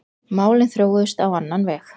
Málin þróuðust á annan veg.